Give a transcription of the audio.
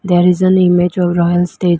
there is on image royal stage.